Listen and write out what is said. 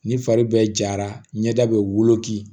Ni fari bɛ jara ɲɛda bɛ woloki